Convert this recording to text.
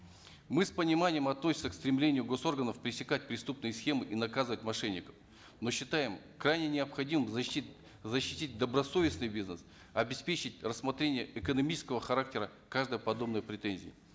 мы с пониманием относимся к стремлению гос органов пресекать преступные схемы и наказывать мошенников но считаем крайне необходимым защитить защитить добросовестный бизнес обеспечить рассмотрение экономического характера каждой подобной претензии